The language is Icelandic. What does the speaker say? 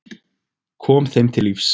Kom þeim til lífs.